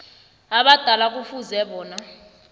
abadala kufuze bona